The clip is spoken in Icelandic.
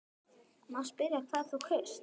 Má spyrja hvað þú kaust?